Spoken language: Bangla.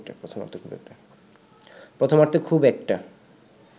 প্রথমার্ধে খুব একটা